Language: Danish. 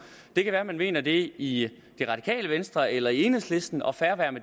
det kan være man mener det i det radikale venstre eller i enhedslisten og fred være